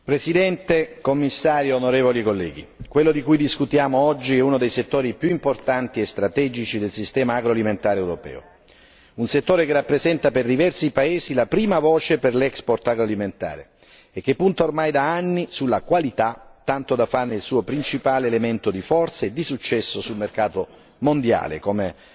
Signor Presidente, signor Commissario, onorevoli colleghi, quello di cui discutiamo oggi è uno dei settori più importanti e strategici del sistema agroalimentare europeo, un settore che rappresenta per diversi paesi la prima voce per l' agroalimentare e che punta ormai da anni sulla qualità, tanto da farne il suo principale elemento di forza e di successo sul mercato mondiale, come